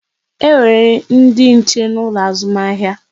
E nwere ndị nche n'ụlọ azụmahịa